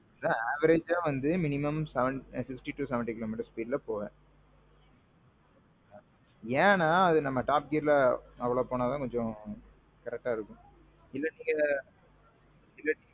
அதான் averageஆ வந்து sixty to seventy km போவேன்.